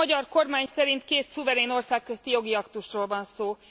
A magyar kormány szerint két szuverén ország közti jogi aktusról van szó.